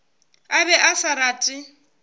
a be a sa rate